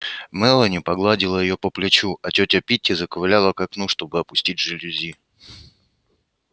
мелани погладила её по плечу а тётя питти заковыляла к окну чтобы опустить жалюзи